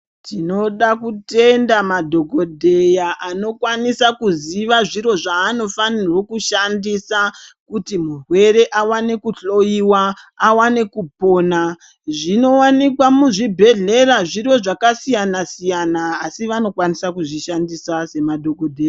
Tinoda kutenda madhogodheya anokwanisa kuziva zviro zvaanofanirwo kushandisa kuti murwere awane kuhloyiwa, awane kupona. Zvinowanikwa muzvibhedhlera zviro zvakasiyana-siyana asi vanokwanisa kuzvishandisa semadhogodheya.